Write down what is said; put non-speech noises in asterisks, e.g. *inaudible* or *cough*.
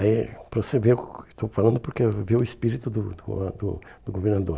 Aí, para você ver o *unintelligible* que eu estou falando, porque é ver o espírito do do a do do governador.